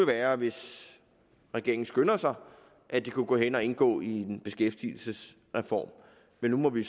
være hvis regeringen skynder sig at det kunne gå hen og indgå i en beskæftigelsesreform men nu må vi